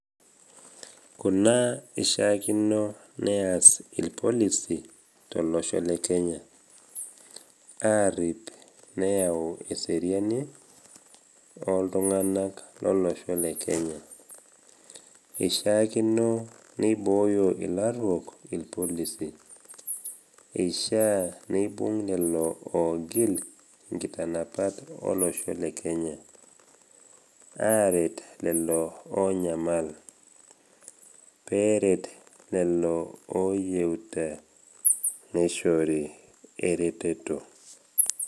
Kuna ishaakino neas ilpolisi tolosho lekenya, arip, neyau eseriani oltung’ana lolosho le Kenya, ishaakino neibooyo ilaruok ilpolisi, eishaa neibung lelo oogil inkitanapat olosho le Kenya, aret lelo onyamal, peeret lelo oyeuta neishorr ereteto.